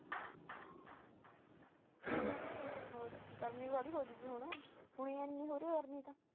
ਹੋਰ ਗਰਮੀ ਬਾਹਲੀ ਹੋ ਗਈ